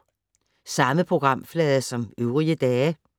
Samme programflade som øvrige dage